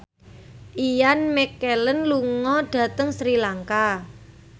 Ian McKellen lunga dhateng Sri Lanka